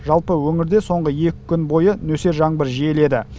жалпы өңірде соңғы екі күн бойы нөсер жаңбыр жиіледі